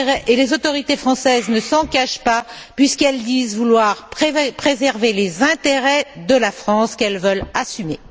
D'ailleurs, les autorités françaises ne s'en cachent pas puisqu'elles disent vouloir préserver les intérêts de la France qu'elles veulent assumer.